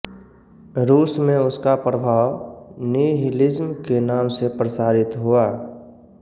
रूस में उसका प्रभाव निहिलिज्म के नाम से प्रसारित हुआ